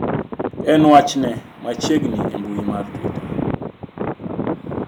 en wach ne machiegni e mbui mar twitter